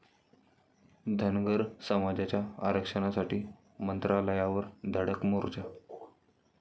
धनगर समाजाचा आरक्षणासाठी मंत्रालयावर धडक मोर्चा